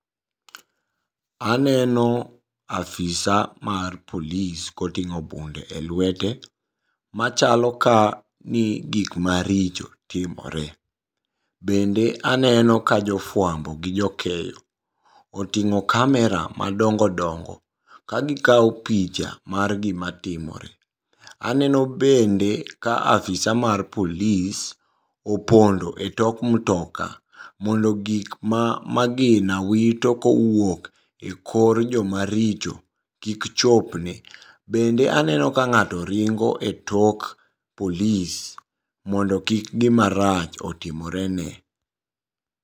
Aneno afisa mar polis koting'o bunde e lwete machalo ka ni gikma richo timore, bende aneno kajofuambo gi jokeyo oting'o kamera madongo dongo ka gikao picha mar gimatimore. Aneno bende ka afisa mar polis opondo e tok mtoka mondo gikma magina wito kowuok e kor jomaricho kikchopne, bende aneno ka ng'ato ringo e tok polis mondo kik gimarach otimorene.